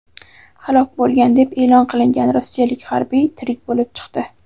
halok bo‘lgan deb e’lon qilingan rossiyalik harbiy tirik bo‘lib chiqdi.